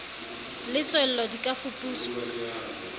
le tswello di ka fuputswa